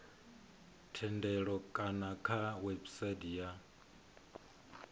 thendelo kana kha website ya